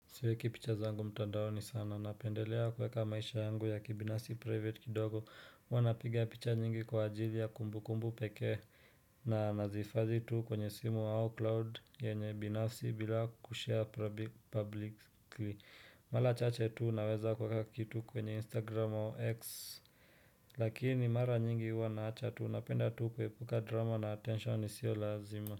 Siweki picha zangu mtandaoni sana, napendelea kuweka maisha yangu ya kibinafsi private kidogo, huwa napiga picha nyingi kwa ajili ya kumbukumbu pekee, na nazihifadhi tu kwenye simu au cloud yenye binafsi bila kushare publicly, mara chache tu naweza kuweka kitu kwenye instagram au x. Lakini mara nyingi huwa naacha tu, napenda tu kuepuka drama na attention isio lazima.